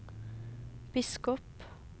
biskop